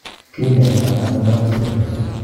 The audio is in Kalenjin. Kiny'aayto nano Down syndrome?